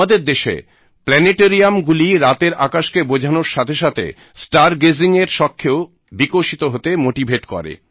আমাদের দেশে প্ল্যানেটেরিয়াম গুলি রাতের আকাশকে বোঝানোর সাথে সাথে স্টার গেজিং এর শখকেও বিকশিত হতে মোটিভেট করে